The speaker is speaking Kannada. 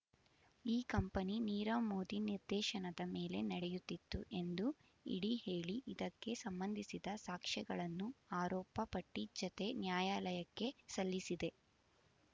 ಈ ಕಂಪನಿ ನೀರವ್ ಮೋದಿ ನಿರ್ದೇಶನದ ಮೇಲೆ ನಡೆಯುತ್ತಿತ್ತು ಎಂದು ಇಡಿ ಹೇಳಿ ಇದಕ್ಕೆ ಸಂಬಂಧಿಸಿದ ಸಾಕ್ಷ್ಯಗಳನ್ನು ಆರೋಪ ಪಟ್ಟಿ ಜತೆ ನ್ಯಾಯಾಲಯಕ್ಕೆ ಸಲ್ಲಿಸಿದೆ